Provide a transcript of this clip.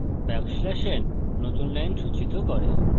backslash n \n নতুন line সূচিত করে